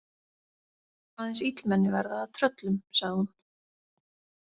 Aðeins illmenni verða að tröllum, sagði hún.